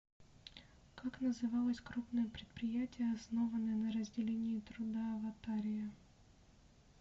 как называлось крупное предприятие основанное на разделении труда аватария